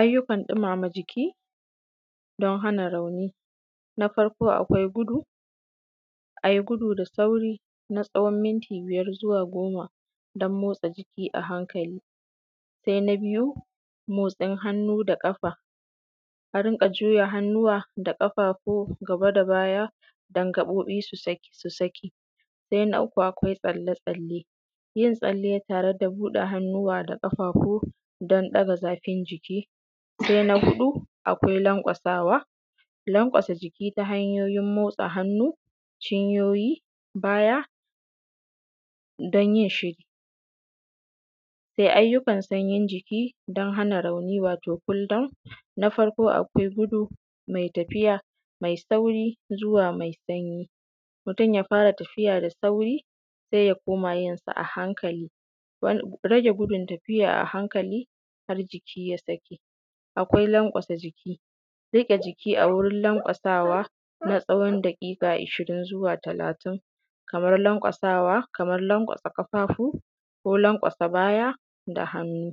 Ayyukan ɗumama jiki don hana rauni Na farko, akwai gudu, ai gudu da sauri na tsawon minti biyar zuwa goma don motsa jiki ahankali. Sai na biyu, motsin hannu da ƙafa a rinƙa juya hannuwa da ƙafafu gaba da baya, don gabobi su saki. Saina uku, akwai tsalle-tsalle yin tsalle tare da buɗe hannuwa da ƙafafu don ɗaga zafin jiki. Sai na huɗu, akwai lanƙwasawa – lanƙwasa jiki ta hanyoyin motsa hannu, cinyoyi, da baya don yinsa. Ayyukan sanyin jiki don hana rauni (Wato kul daun) Na farko, akwai gudu mai tafiya mai sauri zuwa sanyi. Mutum ya fara tafiya da sauri, sai ya koma yinsa ahankali, rage gudun tafiya ahankali har jiki ya saki. Akwai lanƙwasa jiki riƙe jiki a wurin lanƙwasawa na tsawon daƙiƙa ishirin zuwa talatin, kama lanƙwasa ƙafafu ko lanƙwasa baya da hannu.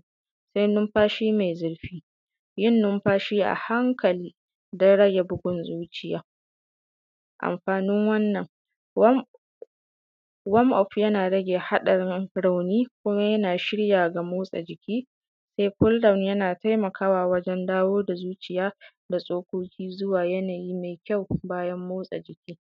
Sai numfashi mai zurfi yin numfashi ahankali don rage bugun zuciya. Amfanin wannan wam-of Yana rage haɗarin rauni Yana shirya ga motsa jiki Kul daun yana taimakawa wajen dawo da zuciya da tsoƙoƙi zuwa yanayi mai ƙyau bayan motsa jiki.